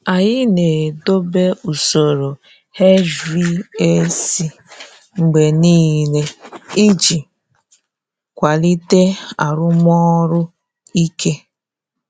Anyị na-edobe usoro HVAC mgbe niile iji kwalite arụmọrụ ike.